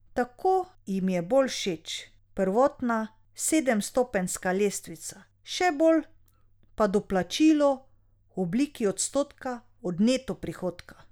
Tako jim je bolj všeč prvotna sedemstopenjska lestvica, še bolj pa doplačilo v obliki odstotka od neto prihodka.